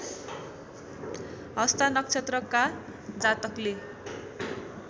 हस्ता नक्षत्रका जातकले